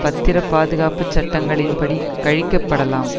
பத்திரப் பாதுகாப்பு சட்டங்களின்படி கழிக்கப்படலாம்